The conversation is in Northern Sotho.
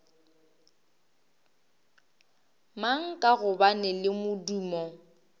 mang ka gobane le modumo